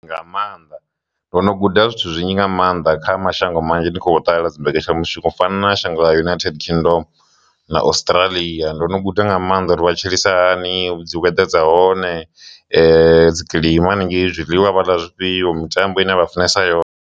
Nga maanḓa ndo no guda zwithu zwinzhi nga maanḓa kha mashango manzhi ni kho ṱalela dzimbekenyamushumo fana shango na United Kingdom na Australian ndo no guda nga maanḓa uri vha tshilisa hani, dzi weather dza hone, dzi kilima hanengei, zwiḽiwa vhala zwifhio mitambo ine vha funesa yone.